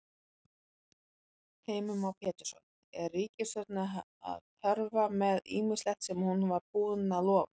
Heimir Már Pétursson: Er ríkisstjórnin að hörfa með ýmislegt sem hún var búin að lofa?